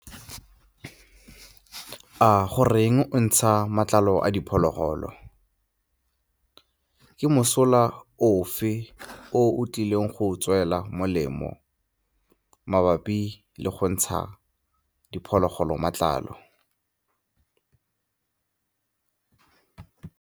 A goreng ntsha matlalo a diphologolo? Ke mosola ofe o o tlileng go go tswela molemo mabapi le go ntsha diphologolo matlalo?